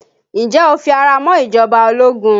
Ǹjẹ́ o fi ara mọ́ ìjọba ológun?